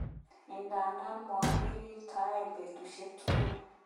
Idadan mokirirtoen betushek tugul.